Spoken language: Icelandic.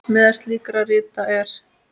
Meðal slíkra rita er